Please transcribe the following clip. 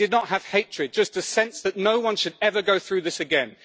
they did not have hatred, just a sense that no one should ever go through this again.